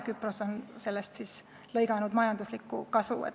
Küpros on sellest lõiganud majanduslikku kasu.